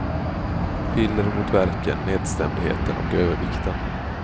Piller mot värken, nedstämdheten och övervikten.